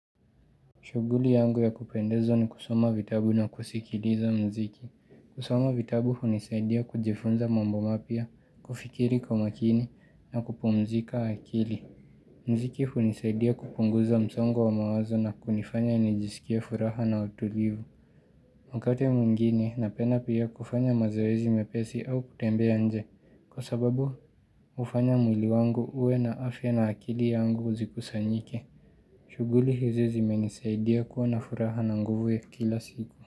Shughuli yangu ya kupendeza ni kusoma vitabu na kusikiliza muziki. Kusoma vitabu hunisaidia kujifunza mambo mapya, kufikiri kwa makini na kupumzika akili. Muziki hunisaidia kupunguza msongo wa mawazo na kunifanya nijisikie furaha na utulivu. Wakati mwjngine napenda pia kufanya mazoezi mepesi au kutembea nje. Kwa sababu hufanya mwili wangu uwe na afya na akili yangu zikusanyike. Shughuli hizi zimenisaidia kuwa na furaha na nguvu ya kila siku.